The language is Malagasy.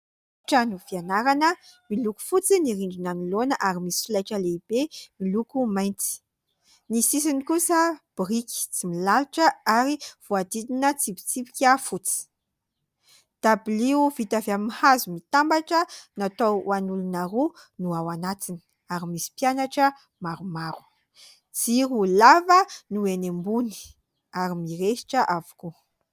Trano fianarana miloko fotsy ny rindrina anoloana ary misy solaitra lehibe miloko mainty. Ny sisiny kosa biriky tsy milalotra ary voahodidina tsipitsipika fotsy. Dabilio vita avy amin'ny hazo mitambatra natao an'olona roa no ao anatiny ary misy mpianatra maromaro. Jiro lava no eny ambony ary mirehitra avokoa.